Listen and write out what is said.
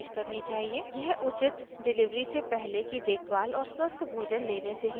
यह उचित डिलिवरी से पहले की देखभाल और स्वस्थ भोजन लेने से ही संभव है